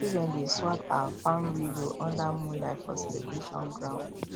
children dey swap um farm riddle under moonlight for celebration ground